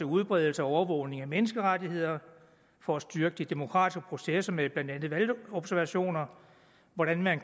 udbredelse og overvågning af menneskerettigheder og for at styrke de demokratiske processer med blandt andet valgobservationer og hvordan man